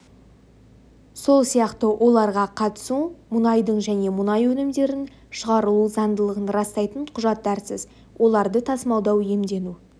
сол сияқты оларға қатысу мұнайдың және мұнай өнімдерінің шығарылу заңдылығын растайтын құжаттарсыз оларды тасымалдау иемдену